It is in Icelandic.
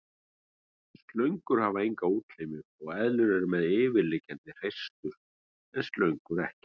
Slöngur hafa enga útlimi og eðlur eru með yfirliggjandi hreistur en slöngur ekki.